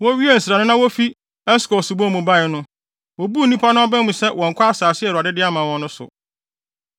Wowiee nsra no na wofi Eskol subon mu bae no, wobuu nnipa no aba mu sɛ wɔnnkɔ asase a Awurade de ama wɔn no so.